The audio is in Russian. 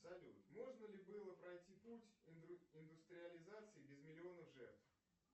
салют можно ли было пройти путь индустриализации без миллионов жертв